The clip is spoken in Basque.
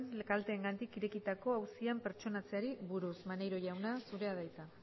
kalteengatik irekitako auzian pertsonatzeari buruz maneiro jauna zurea da hitza